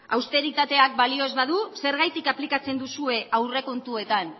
austeritateak balio ez badu zergatik aplikatzen duzue aurrekontuetan